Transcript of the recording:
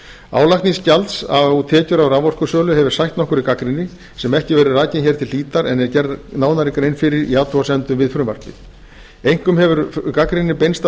álagning gjalds á tekjur af raforkusölu hefur sætt nokkurri gagnrýni sem ekki verður rakin hér til hlítar en gerð er nánari grein fyrir í athugasemdum við frumvarpið einkum hefur gagnrýnin beinst að